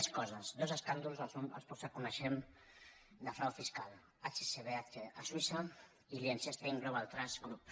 més coses dos escàndols dels pocs que coneixem de frau fiscal hsbc a suïssa i liechtenstein global trust group